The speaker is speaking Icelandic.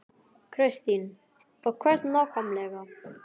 Kristín: Og hvert nákvæmlega?